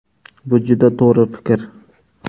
Bu juda to‘g‘ri fikr.